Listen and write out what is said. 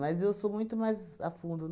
Mas eu sou muito mais a fundo.